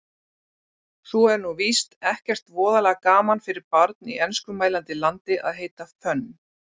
Svo er nú víst ekkert voðalega gaman fyrir barn í enskumælandi landi að heita Fönn